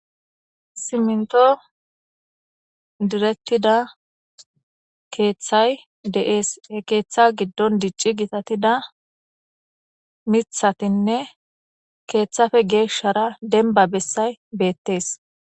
Siminto diretida keeththay deees e keeththa giddon dicci gitatida mithatinne keeththafe geeshara denba bessay beettes.